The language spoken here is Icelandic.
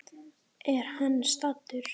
Er hann saddur?